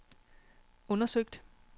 undersøgt